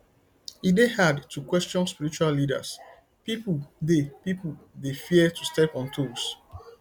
e dey hard to question spiritual leaders pipo dey pipo dey fear to step on toes